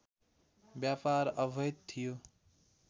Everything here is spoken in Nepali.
व्यापार अवैध थियो